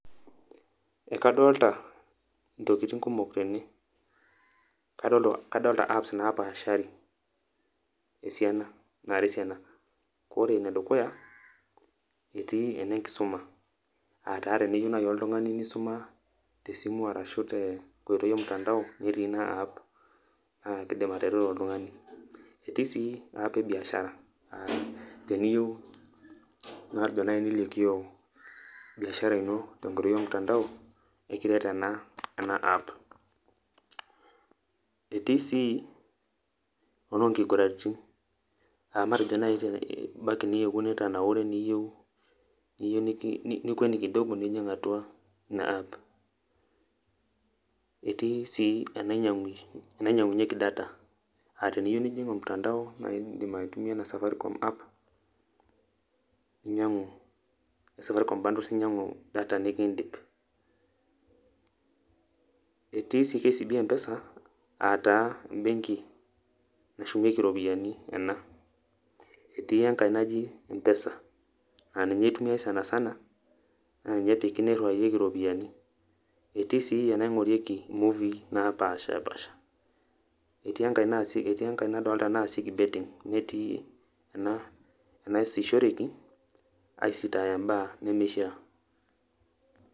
Ekadolta intokiting kumok tene. Kadalta apps napaashari, esiana, nara esiana. Kore enedukuya, etii enenkisuma, ataa teniyieu nai oltung'ani nisuma tesimu arashu tenkoitoi emtandao, netii ina app. Ah kidim atareto oltung'ani. Etii si app ebiashara, ah teniyieu matejo nai nilikio biashara ino tenkoitoi emtandao, ekiret ena ena app. Etii si enoonkiguratin. Ah matejo nai ebaiki niewuo nitanaure, niyieu, niyieu nikweni kidogo nijing' atua ina app. Etii si enainyang'unyeki data. Ah teniyieu nijng' omtandao, nidim aitumia ena Safaricom app, ninyang'u Safaricom bundles ninyang'u data nikiidip. Etii si KCB M-PESA, ataa ebenki nashumieki ropiyaiani ena. Etii enkae naji M-PESA, na ninye itumiai sanasana, na ninye epiki nirriwarieki ropiyaiani. Etii si enaing'orieki imuvii napaashapasha. Etii enkae nadolta nasieki betting. Netii enaasishoreki, aisitaaya mbaa nemeishaa.